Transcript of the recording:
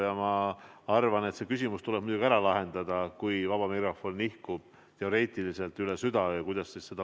Ja ma arvan, et see küsimus tuleb muidugi ära lahendada, mis saab, kui vaba mikrofon nihkub üle südaöö.